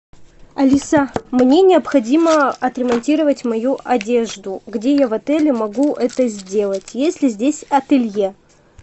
алиса мне необходимо отремонтировать мою одежду где я в отеле могу это сделать есть ли здесь ателье